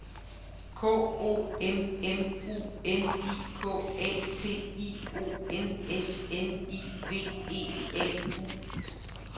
K O M M U N I K A T I O N S N I V E A U